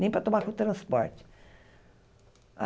Nem para tomar transporte.